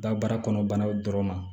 Dabara kɔnɔ banaw dɔrɔn ma